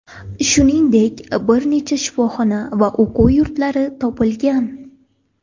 Shuningdek, bir nechta shifoxona va o‘quv yurtlari yopilgan.